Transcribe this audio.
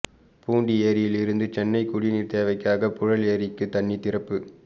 பூண்டி ஏரியில் இருந்து சென்னை குடிநீர் தேவைக்காக புழல் ஏரிக்கு தண்ணீர் திறப்பு